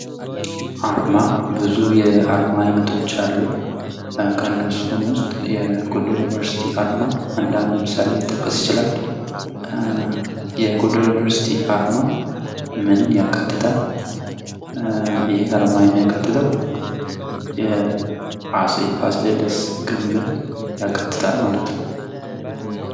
አርማ ብዙ የአርማ አይነቶች አሉ። ከእነሱም ውስጥ የጎንደር ዩኒቨርሲቲ አርማ እንደ ምሳሌ ይጠቀስ ይቻላል የጎንደር ዩኑቨርስቲ አርማ ምንን ያካትታል? ይሃ አርማ የሚያካትተው የአጼ ፋሲለደስ ግምብን የአካትታል ማለት ነው።